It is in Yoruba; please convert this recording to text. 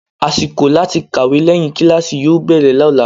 Àsìkò láti kàwé lẹ́yìn kíláàsì yóò bẹ̀rẹ̀ lọ́la.